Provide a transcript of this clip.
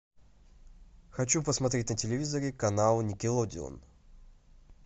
хочу посмотреть на телевизоре канал никелодеон